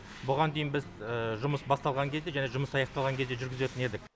бұған дейін біз жұмыс басталған кезде және жұмыс аяқталған кезде жүргізетін едік